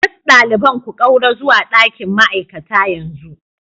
Duk ɗaliban ku ƙaura zuwa ɗakin ma'aikata yanzu